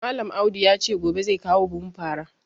Malam Audu ya ce gobe zai kawo buhun fara